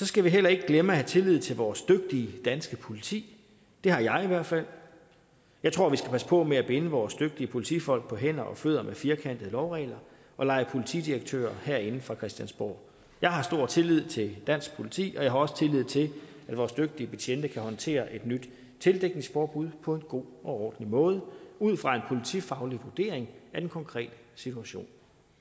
skal vi heller ikke glemme at have tillid til vores dygtige danske politi det har jeg i hvert fald jeg tror vi skal passe på med at binde vores dygtige politifolk på hænder og fødder med firkantede lovregler og lege politidirektører herinde fra christiansborg jeg har stor tillid til dansk politi og jeg har også tillid til at vores dygtige betjente kan håndtere et nyt tildækningsforbud på en god og ordentlig måde ud fra en politifaglig vurdering af den konkrete situation